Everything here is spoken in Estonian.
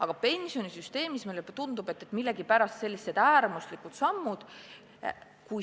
Aga pensionisüsteemi puhul tunduvad sellised äärmuslikud sammud meile millegipärast vajalikud.